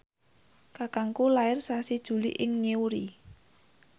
kakangku lair sasi Juli ing Newry